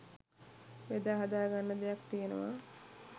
බෙදාහදාගන්න දෙයක් තියෙනවා..